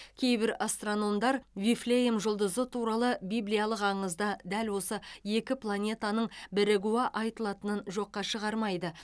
кейбір астрономдар вифлеем жұлдызы туралы библиялық аңызда дәл осы екі планетаның бірігуі айтылатынын жоққа шығармайды